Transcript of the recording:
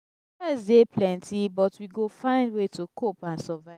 stress dey plenty but we go find way to cope and survive.